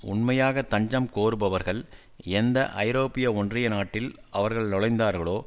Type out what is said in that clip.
உண்மையாக தஞ்சம் கோருபவர்கள் எந்த ஐரோப்பிய ஒன்றிய நாட்டில் அவர்கள் நுழைந்தார்களோ